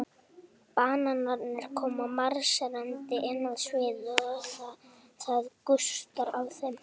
Bananarnir koma marserndi inn á sviðið og það gustar af þeim.